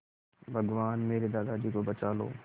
भगवान मेरे दादाजी को बचा लो